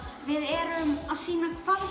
við erum að sýna hverju